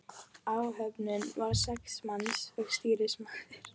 Áhöfnin var sex manns og stýrimaður.